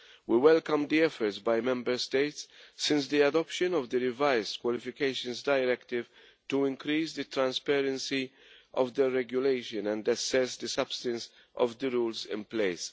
We welcome the efforts by Member States since the adoption of the revised Qualifications Directive to increase the transparency of the regulation and assess the substance of the rules in place.